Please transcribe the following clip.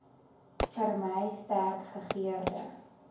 vermy sterk gegeurde